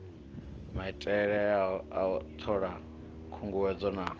maitelea u thola khunguwedzelo na